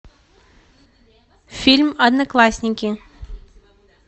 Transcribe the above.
фильм одноклассники